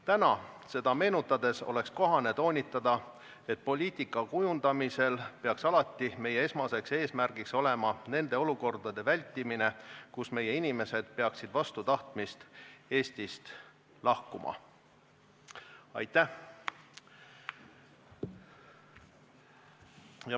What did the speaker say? Täna seda meenutades oleks kohane toonitada, et poliitika kujundamisel peaks alati meie esmane eesmärk olema nende olukordade vältimine, kus meie inimesed peaksid vastu tahtmist Eestist lahkuma.